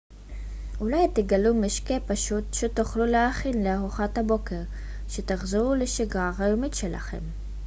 אולי תגלו משקה פשוט שתוכלו להכין לארוחת הבוקר כשתחזרו לשגרה היומית שלכם